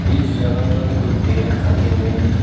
इस जगह पर कुछ बेट रखे हुए हैं।